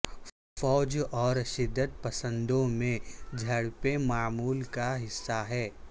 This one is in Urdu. فوج اور شدت پسندوں میں جھڑپیں معمول کا حصہ ہے